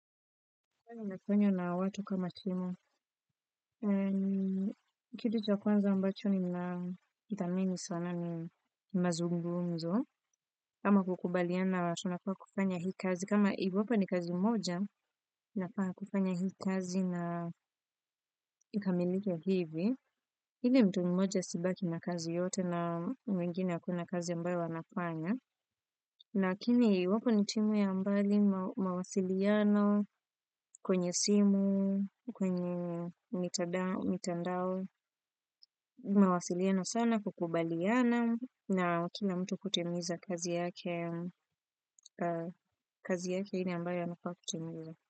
Huwa ninafanya na watu kama timu, kitu cha kwanza ambacho nina thamini sana ni mazungumzo, ama kukubaliana tunapaswa kufanya hii kazi, kama iwapo ni kazi moja, inapaswa kufanya hii kazi na ikamilike hivi, hivi mtu mmoja asibaki na kazi yote na mwingine hakuna kazi ambayo anafanya, lakini iwapo ni timu ya mbali mawasiliano kwenye simu, kwenye mitandao, mawasiliano sana kukubaliana na kila mtu kutimiza kazi yake, kazi yake ile ambayo anafaa kutimiza.